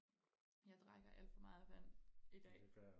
jeg drikker alt for meget vand i dag